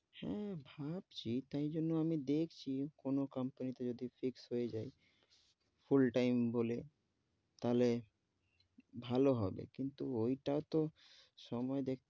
হেঁ, ভাবছি তাই জন্য আমি দেখছি কোনো company তে যদি fixed হয়ে যায় full time বলে, তাহলে ভালো হবে, কিন্তু ওই তাও তো সময়,